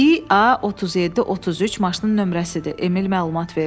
İA 37-33 maşının nömrəsidir, Emil məlumat verdi.